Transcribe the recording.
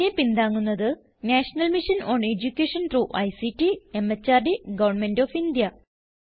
ഇതിനെ പിന്താങ്ങുന്നത് national mission on education through ICT MHRD government of India